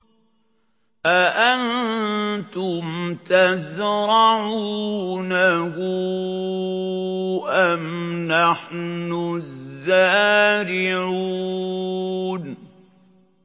أَأَنتُمْ تَزْرَعُونَهُ أَمْ نَحْنُ الزَّارِعُونَ